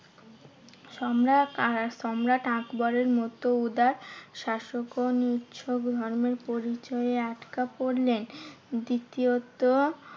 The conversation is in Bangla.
সম্রাট আর সম্রাট আকবরের মতো উদার শাসকও ধর্মের পরিচয়ে আটকা পড়লেন। দ্বিতীয়ত